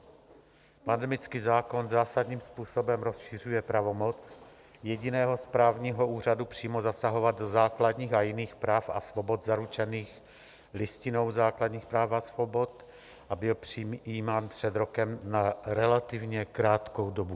Pandemický zákon zásadním způsobem rozšiřuje pravomoc jediného správního úřadu přímo zasahovat do základních a jiných práv a svobod zaručených Listinou základních práv a svobod a byl přijímán před rokem na relativně krátkou dobu.